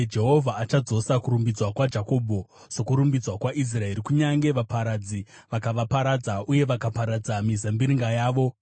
Jehovha achadzosa kurumbidzwa kwaJakobho sokurumbidzwa kwaIsraeri, kunyange vaparadzi vakavaparadza uye vakaparadza mizambiringa yavo.